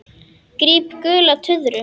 Gríp gula tuðru.